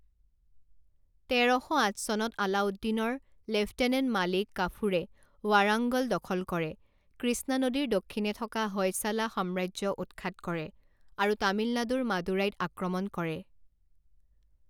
তেৰ শ আঠ চনত আলাউদ্দিনৰ লেফটেনেণ্ট মালিক কাফুৰে ৱাৰাংগল দখল কৰে, কৃষ্ণা নদীৰ দক্ষিণে থকা হয়শালা সাম্ৰাজ্য উৎখাত কৰে আৰু তামিলনাডুৰ মাদুৰাইত আক্ৰমণ কৰে।